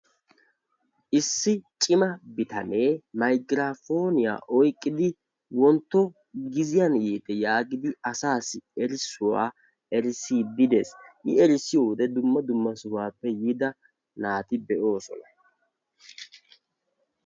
Issi cimma bitanee mayggirapponiyaa oyqqidi wontto giziyaan yiite yaagidi asaassi erissuwa erissidi de'ees. I erissiyo wode dumma dumma hohuwappe yiida naati de'oosona.